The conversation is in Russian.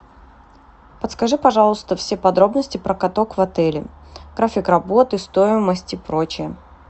подскажи пожалуйста все подробности про каток в отеле график работы стоимость и прочее